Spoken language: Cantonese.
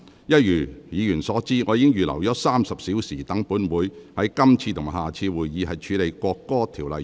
一如議員所知，我預留了約30小時，讓本會於今次及下次會議處理《國歌條例草案》。